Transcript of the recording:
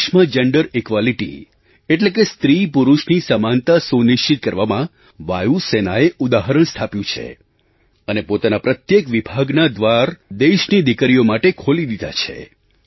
દેશમાં gender equality એટલે કે સ્ત્રીપુરુષની સમાનતા સુનિશ્ચિત કરવામાં વાયુ સેનાએ ઉદાહરણ સ્થાપ્યું છે અને પોતાના પ્રત્યેક વિભાગનાં દ્વાર દેશની દીકરીઓ માટે ખોલી દીધાં છે